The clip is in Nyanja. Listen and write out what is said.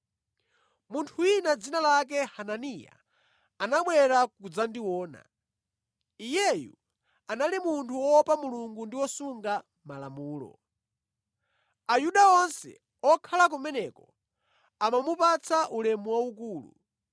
“Munthu wina dzina lake Hananiya anabwera kudzandiona. Iyeyu anali munthu woopa Mulungu ndi wosunga Malamulo. Ayuda onse okhala kumeneko amamupatsa ulemu waukulu.